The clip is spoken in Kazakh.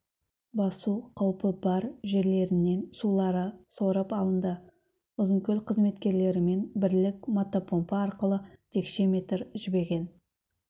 басу қауіпі бар жерлерінен сулары сорып алынды ұзынкөл қызметкерлерімен бірлік мотопомпа арқылы текше метр жібіген